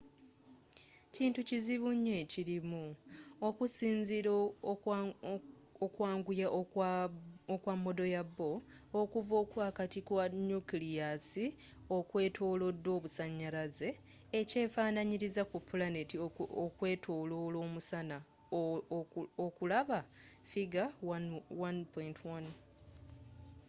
kintu kizibu nnyo ekirimu okusinzila ku kwanguya okwa modo ya bohr okuva okwaakati kwa nukiliyasi okwetolodwa obusanyalaze ekyefananyiliza ku pulaneti okwetolola omusana okulaba figure 1.1